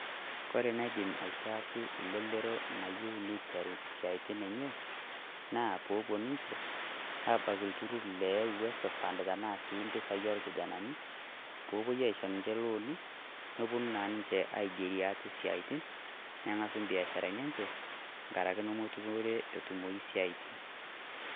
koree naidim atiaki lelero oyieu niteru siaitin enye na popuo ninje abaki ilturur le uwezo fund tenaa sii mpisai olkijanani popuoi aishoo ninje loani neponu naa ninje aigeriee ate tesiaitin neng'asu mbiasharani enje nkaraki mookure etumoyu siaitin